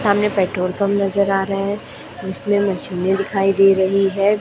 सामने petrol pump नजर आ रहे जिसमे मशीनें दिखाई दिखाई दे रही है।